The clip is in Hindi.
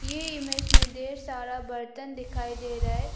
ये इमेज में ढेर सारा बर्तन दिखाई दे रहा है।